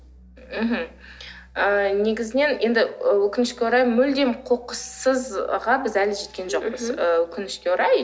мхм ы негізінен енді өкінішке орай мүлдем қоқыссызға біз әлі жеткен жоқпыз ы өкінішке орай